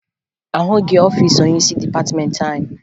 Ahụghị ọfiisi onyeisi dịpatịmeentị anyị